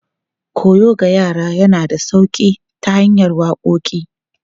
Koyo ga yara yana da sauƙi ta hanyar waƙoƙi.